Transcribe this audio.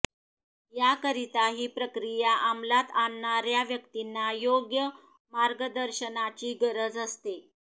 याकरिता ही प्रक्रिया अमलात आणणाऱया व्यक्तींना योग्य मार्गदर्शनाची गरज असते